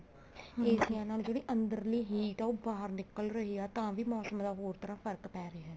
AC ਨਾਲ ਜਿਹੜੀ ਅੰਦਰੀ heat ਹੈ ਉਹ ਬਾਹਰ ਨਿੱਕਲ ਰਹੀ ਹੈ ਤਾਂ ਵੀ ਮੋਸਮ ਦਾ ਹੋਰ ਤਰ੍ਹਾਂ ਫਰਕ ਪੈ ਰਿਹਾ